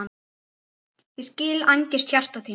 Ég skil angist hjarta þíns